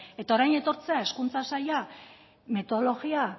eta orain etortzea hezkuntza saila metodologia